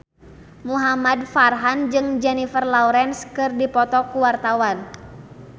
Muhamad Farhan jeung Jennifer Lawrence keur dipoto ku wartawan